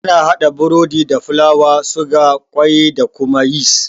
Ana haɗa burodi da fulawa, suga, kwai da kuma yis.